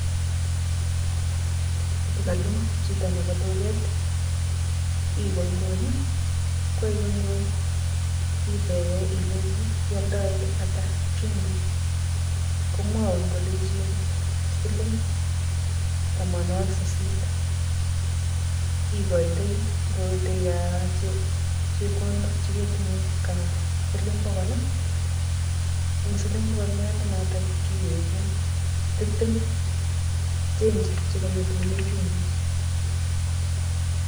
Ng'oto kaloo chitob duket, iwee nguni, kokaikonykony, itebe ilechi ialdae ata chumbik. Komwaun kolechin siling tamwanwogik sisit. Ikoitoiy. Ngot tee kaa um chepkondok che ketinye ka siling bogol, eng' siling bogolianda notok kiwegun tiptem, chenchi chekangetune chumbik